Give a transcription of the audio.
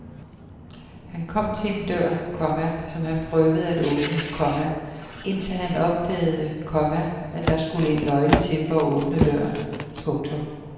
Han kom til en dør, komma som han prøvede at åbne, komma indtil han opdagede, komma at der skulle en nøgle til for at åbne døren. punktum